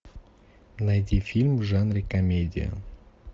найди фильм в жанре комедия